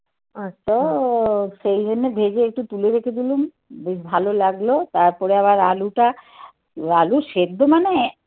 তো সেই জন্য ভেজে একটু তুলে রেখে দিলুম. বেশ ভালো লাগলো. তারপরে আবার আলুটা আলু সেদ্ধ মানে